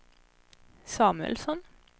Samuelsson